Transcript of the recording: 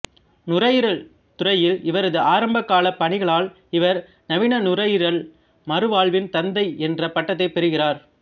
நுரையீரல் துறையில் இவரது ஆரம்பக்கால பணிகளால் இவர் நவீன நுரையீரல் மறுவாழ்வின் தந்தை என்ற பட்டத்தைப் பெறுகிறார்